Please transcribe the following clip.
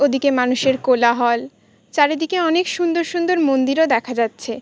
ওদিকে মানুষের কোলাহল। চারিদিকে অনেক সুন্দর সুন্দর মন্দিরও দেখা যাচ্ছে।